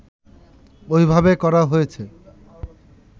ওইভাবে করা হয়েছে